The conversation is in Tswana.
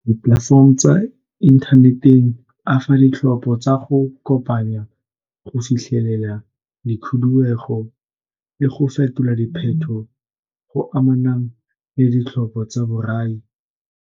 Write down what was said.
Di-platform tsa inthaneteng a fa ditlhopho tsa go kopanya go fitlhelela di le go fetola diphetogo go amana le ditlhopho tsa borai.